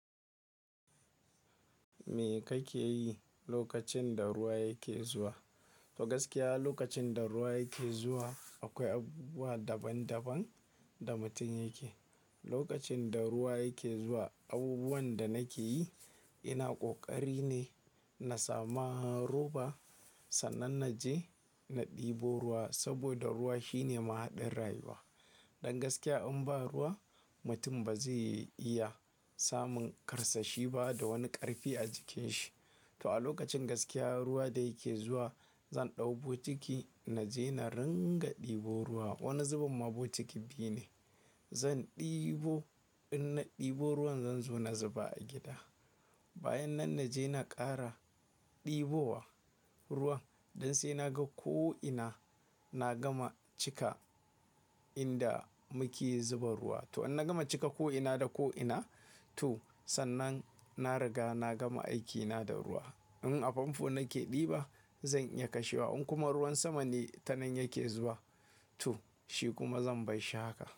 Me kake yi lokacin da ruwa yake zuwa? To gaskiya lokacin da ruwa yake zuwa akwai abubuwa daban daban da mutum yake. Lokacin da ruwa yake zuwa, abubuwan da nake yi ina ƙoƙari ne na samu roba sannan na je na ɗebo ruwa saboda ruwa shine mahaɗar rayuwa. Dan gaskiya in ba ruwa mutum ba zai iya samun karsashi ba da wani ƙarfi a jikin shi. To a lokacin gaskiya ruwa da yake zuwa zan ɗau bokiti na je na ringa ɗebo ruwa. Wani zubin ma bokitin biyu ne. Zan ɗebo in na ɗebo ruwan zan zo na zuba a gida. Bayan nan na je na ƙara ɗebowa ruwan don sai na ga ko ina na gama cika inda muke zuba ruwa. To in na gama cika ko ina da ko ina to sannan na riga na gama aikina da ruwa. In a famfo nake ɗiba zan iya kashewa. In kuma ruwan sama ne tanan yake zuwa to shi kuma zan bar shi haka.